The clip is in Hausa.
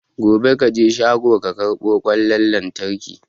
Gobe kaje shago ka karbo kwan lantraki